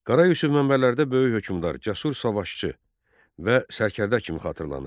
Qara Yusif mənbələrdə böyük hökmdar, cəsur savaşçı və sərkərdə kimi xatırlanır.